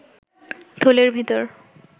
থলের ভিতর